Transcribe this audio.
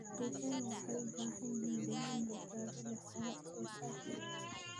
Digaagga waxay u baahan yihiin deegaan badbaado leh oo wax soo saar ah.